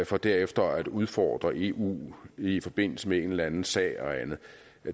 for derefter at udfordre eu i forbindelse med en eller anden sag eller andet